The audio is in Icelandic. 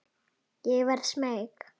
Ég verð smeyk.